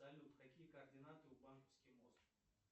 салют какие координаты у банковский мост